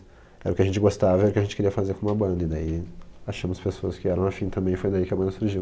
Era o que a gente gostava, era o que a gente queria fazer com a banda, e daí achamos pessoas que eram afim também, foi daí que a banda surgiu.